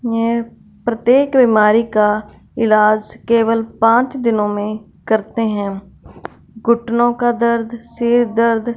ये प्रत्येक बीमारी का इलाज केवल पांच दिनों में करते हैं घुटनों का दर्द सिर दर्द--